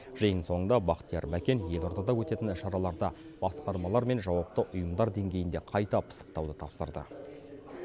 жиын соңында бақтияр мәкен елордада өтетін шараларды басқармалар мен жауапты ұйымдар деңгейінде қайта пысықтауды тапсырды